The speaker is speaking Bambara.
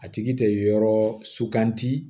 A tigi tɛ yɔrɔ suganti